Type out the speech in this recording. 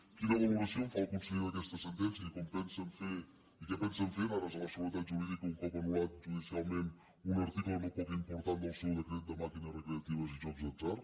quina valoració en fa el conseller d’aquesta sentència i què pensen fer en ares a la seguretat jurídica un cop anul·lat judicialment un article no poc important del seu decret de màquines recreatives i jocs d’atzar